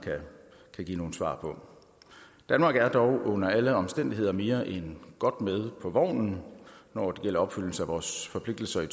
kan give nogle svar på danmark er dog under alle omstændigheder mere end godt med på vognen når det gælder opfyldelse af vores forpligtelser i